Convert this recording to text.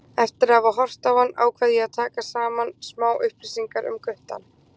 Eftir að hafa horft á hann ákvað ég að taka saman smá upplýsingar um guttann.